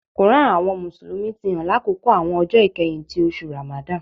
Koran ti àwọn Mùsùlùmí ti hàn lákòókò àwọn ọjọ ikẹhin ti oṣù Ramadan.